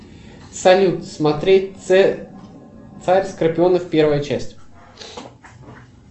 салют смотреть царь скорпионов первая часть